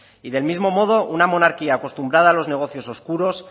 y del mismo modo una monarquía acostumbrada a los negocios oscuros